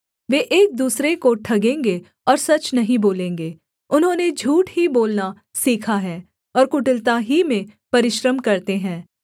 वे एक दूसरे को ठगेंगे और सच नहीं बोलेंगे उन्होंने झूठ ही बोलना सीखा है और कुटिलता ही में परिश्रम करते हैं